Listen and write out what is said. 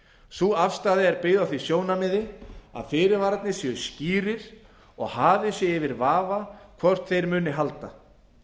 sú afstaða er byggð á því sjónarmiði að fyrirvararnir séu skýrir og að hafið sé yfir vafa hvort þeir muni halda